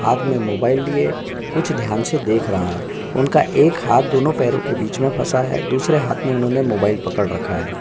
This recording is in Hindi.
हाथ में मोबाइल लिए कुछ ध्यान से देख रहा है उनका एक हाथ दोनों पैरों के बीच में फसा है दूसरे हाथ में उन्होंने मोबाइल पकड़ रखा है।